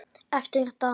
Eftir dag.